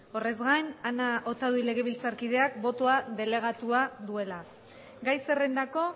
orretzgain ana otaduy legebiltzarkideak botoak delegatuak duela gai zerrendako